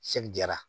jara